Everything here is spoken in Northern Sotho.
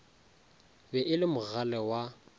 be e le mogale wa